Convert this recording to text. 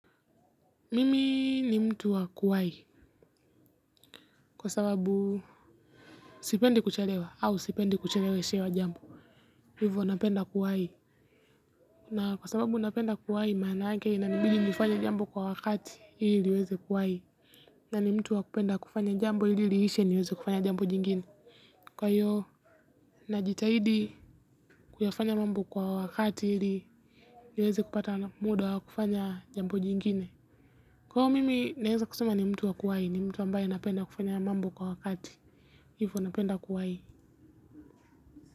Mimi ni mtu wa kuwahi kwa sababu sipendi kuchelewa au sipendi kucheleweshewa jambo. Hivyo napenda kuwahi. Na kwa sababu napenda kuwahi maanake inanibidi nifanye jambo kwa wakati ili niweze kuwahi. Na ni mtu wa kupenda kufanya jambo ili liishe niweze kufanya jambo jingine. Kwa hiyo najitahidi kuyafanya mambo kwa wakati ili niweze kupata muda wa kufanya jambo jingine. Kwa hiyo mimi naweza kusema ni mtu wa kuwahi ni mtu ambaye anapenda kufanya mambo kwa wakati hivyo napenda kuwahi.